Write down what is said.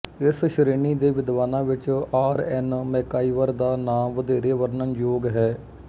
ਇਸ ਸ਼ੇ੍ਰਣੀ ਦੇ ਵਿਦਵਾਨਾ ਵਿੱਚ ਆਰ ਐਨ ਮੈਕਾਈਵਰ ਦਾ ਨਾ ਵਧੇਰੇ ਵਰਣਨ ਯੋਗ ਹੈ